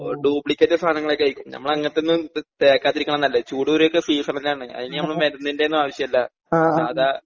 Duplicate സാധങ്ങളൊക്കെയേയിരിക്കും ഞമ്മളങ്ങനത്തൊന്നും ഇത് തേക്കാതിരിക്ക്ണതാ നല്ലത് ചൂട് കുരുവൊക്കെ സീസണലാണ് അയ്ന് നമ്മളെ മരുന്നിന്റൊന്നും ആവശ്യല്ല സാധാ.